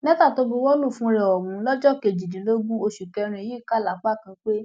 lẹtà tó buwọ lù fúnra ẹ ọhún lọjọ kejìdínlógún oṣù kẹrin yìí kà lápá kan pé